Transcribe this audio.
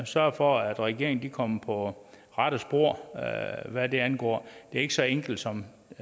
sørge for at regeringen kommer på rette spor hvad det angår det er ikke så enkelt som